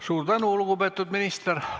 Suur tänu, lugupeetud minister!